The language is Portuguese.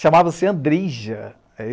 Chamava-se Andrija.